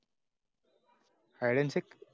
Science.